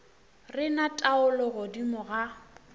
re na taolo godimo ga